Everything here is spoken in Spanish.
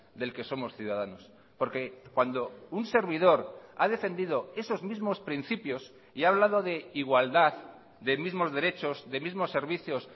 del que somos ciudadanos porque cuando un servidor ha defendido esos mismos principios y ha hablado de igualdad de mismos derechos de mismos servicios